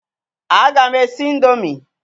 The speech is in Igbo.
A ga m esi ị̀ndómị́